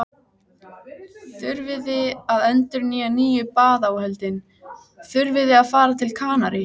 Svefnpokarnir lágu samhliða og samanvöðlaðir bakpokarnir voru notaðir sem koddar.